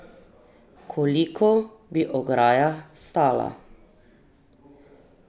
Koliko bi ograja stala?